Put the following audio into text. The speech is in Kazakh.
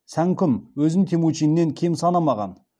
сәңкүм өзін темучиннен кем санамаған